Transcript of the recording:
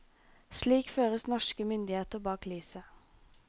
Slik føres norske myndigheter bak lyset.